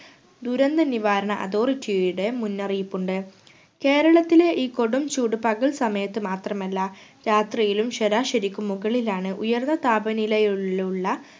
ദുരന്ത നിവാരണ authority യുടെ മുന്നറിയിപ്പുണ്ട്‌ കേരളത്തിലെ ഈ കൊടും ചൂട് പകൽ സമയത്തു മാത്രമല്ല രാത്രിയിലും ശരാശരിക്ക് മുകളിലാണ്. ഉയർന്ന താപനിലയിലുള്ള